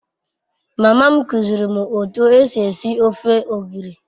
Mama m kuziiri m otu esi esi ofe ogiri